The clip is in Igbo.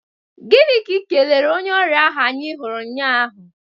Gini ka i kelere onye ọrịa ahụ anyị huru nnya ahụ?